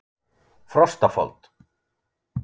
Frostafold